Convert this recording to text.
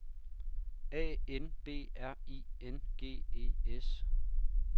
A N B R I N G E S